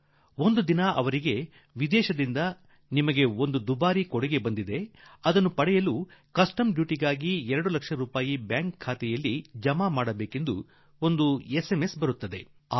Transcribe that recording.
ಆತನಿಗೆ ಒಂದು ದಿನ ವಿದೇಶದಿಂದ ಅಮೂಲ್ಯ ಉಡುಗೊರೆ ಬಂದಿದೆ ಮತ್ತು ಅದನ್ನು ಪಡೆದುಕೊಳ್ಳಲು ಸೀಮಾ ಶುಲ್ಕವಾಗಿ ಆತ 2 ಲಕ್ಷ ರೂಪಾಯಿಗಳನ್ನು ಒಂದು ಬ್ಯಾಂಕ್ ಖಾತೆಗೆ ಜಮಾ ಮಾಡಬೇಕೆಂದು ಅವರಿಗೆ SಒS ಸಂದೇಶ ಬಂತು